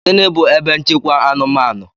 Gịnị bu ebe nchekwa anụmanụ?